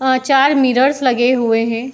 वहाँ चार मिरर्स लगे हुए हैं।